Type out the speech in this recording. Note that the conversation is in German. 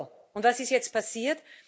So, und was ist jetzt passiert?